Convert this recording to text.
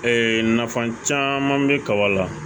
Ee nafa caman bɛ kaba la